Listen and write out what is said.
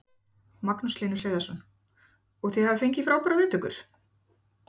Magnús Hlynur Hreiðarsson: Og þið hafið fengið frábærar viðtökur?